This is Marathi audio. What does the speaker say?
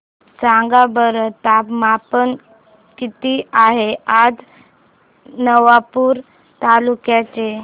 सांगा बरं तापमान किता आहे आज नवापूर तालुक्याचे